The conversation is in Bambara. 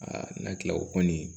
n'an kila o kɔni